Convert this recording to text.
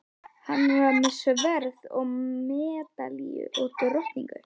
Hann var með sverð og medalíu og drottningu.